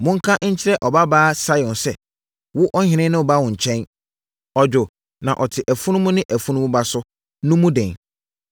“Monka nkyerɛ Ɔbabaa Sion sɛ wo ɔhene reba wo nkyɛn. Ɔdwo, na ɔte afunumu ne, afunumu ba so,” no mu den.